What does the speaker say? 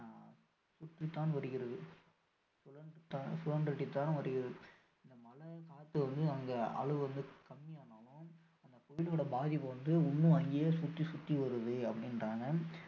அதிகரித்து தான் வருகிறத சுழன்றடுத்து வருகிறது இந்த மழை காற்று வந்து அங்கு அளவு கம்மி ஆனாலும் இந்த புயல்லோட பாதிப்பு வந்து இன்னும் அங்கேயே சுற்றி சுற்றி வருது அப்படின்றாங்க